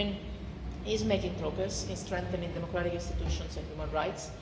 Ukraine is making progress in strengthening democratic institutions and human rights.